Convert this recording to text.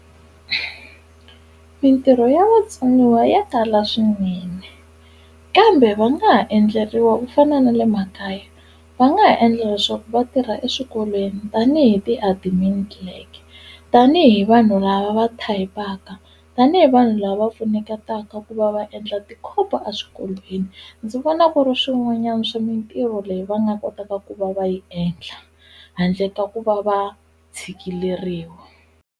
Mitirho ya vatsoniwa ya tala swinene kambe va nga ha endleriwa ku fana na le makaya va nga ha endla leswaku vatirha eswikolweni tanihi ti-admin clerk tanihi vanhu lava va type-aka tanihi vanhu lava pfuneketaka ku va va endla ti-copy a swikolweni ndzi vona ku ri swin'wanyana swi mintirho leyi va nga kotaka ku va va yi endla handle ka ku va va tshikileriwa.